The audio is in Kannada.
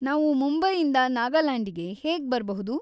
ನಾವು ಮುಂಬೈಯಿಂದ ನಾಗಾಲ್ಯಾಂಡಿಗೆ ಹೇಗ್‌ ಬರ್ಬಹುದು?